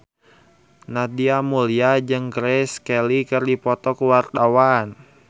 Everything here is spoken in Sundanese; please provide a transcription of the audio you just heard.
Nadia Mulya jeung Grace Kelly keur dipoto ku wartawan